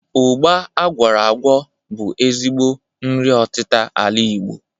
Ụgba agwọrọ agwọ bu ezigbo nri ọtita ala Igbo.